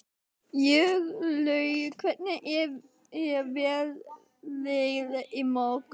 Jórlaug, hvernig er veðrið á morgun?